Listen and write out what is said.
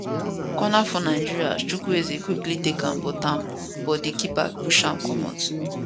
corner for nigeria as chukwueze quickly take am but am but di keeper push am comot